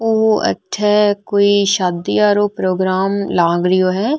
ओ अठे कोई शादी आरो प्रोग्राम लाग रियो है।